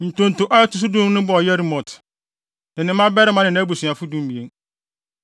Ntonto a ɛto so dunum no bɔɔ Yeremot, ne ne mmabarima ne nʼabusuafo (12)